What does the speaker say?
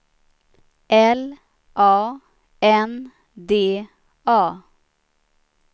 L A N D A